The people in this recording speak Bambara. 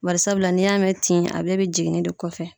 Barisabula n'i y'a mɛn tin a bɛɛ bɛ jiginni de kɔfɛ.